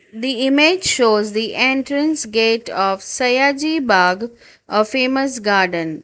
The image shows the entrance gate of sayajI bag a famous garden.